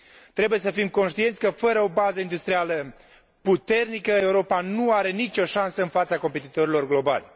Trebuie să fim conștienți că, fără o bază industrială puternică, Europa nu are nicio șansă în fața competitorilor globali.